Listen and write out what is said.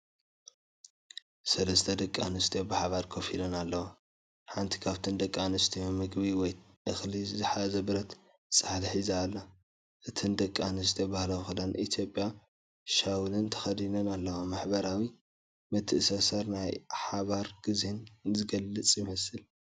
ሰለስተ ደቂ ኣንስትዮ ብሓባር ኮፍ ኢለን ኣለዋ። ሓንቲ ካብተን ደቂ ኣንስትዮ መግቢ ወይ እኽሊ ዝሓዘ ብረት ጻሕሊ ሒዛ ኣላ። እተን ደቂ ኣንስትዮ ባህላዊ ክዳን ኢትዮጵያን ሻውልን ተኸዲነን ኣለዋ። ማሕበራዊ ምትእስሳርን ናይ ሓባር ግዜን ዝገልጽ ይመስል።